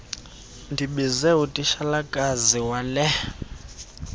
ndibize utitshalakazi wela